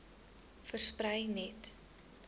versprei net